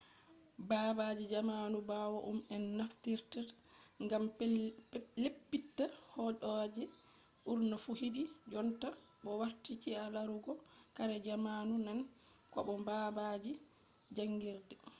baabalji jamanu ɓawo ɗum en naftiritta ngam leppita hooɗeeji ɓurna fu hiɗi jonta bo warti ci'a larugo kare jamanu nane ko bo baabalji jaangirde